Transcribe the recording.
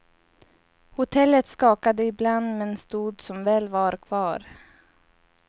Hotellet skakade ibland men stod som väl var kvar.